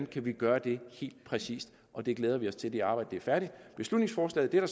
kan gøre det helt præcist og vi glæder os til at arbejdet er færdigt beslutningsforslaget er